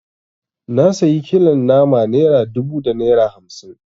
Na sayi kilon nama naira dubu da naira hamsi